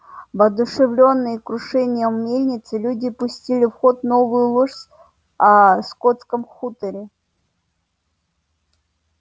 воодушевлённые крушением мельницы люди пустили в ход новую ложь о скотском хуторе